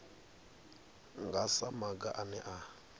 nga sa maga ane a